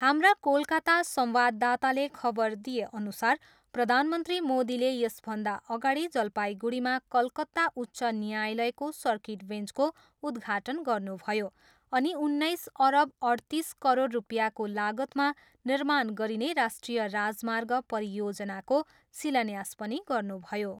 हाम्रा कोलकाता संवाददाताले खबर दिएअनुसार प्रधानमन्त्री मोदीले यसभन्दा अगाडि जलपाइगुडीमा कलकता उच्च न्यायालयको सर्किट वेन्चको उद्घाटन गर्नुभयो अनि उन्नाइस अरब अठतिस करोड रुपियाँको लागतमा निर्माण गरिने राष्ट्रिय राजमार्ग परियोजनाको शिलान्यास पनि गर्नुभयो।